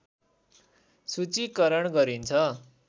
सूचीकरण गरिन्छ